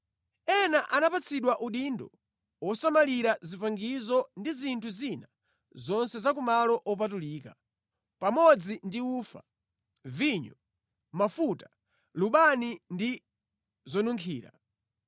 Ena anapatsidwa udindo wosamalira zipangizo ndi zinthu zina zonse za ku malo opatulika, pamodzi ndi ufa, vinyo, mafuta, lubani ndi zonunkhira.